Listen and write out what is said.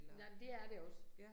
Nej, men det er det også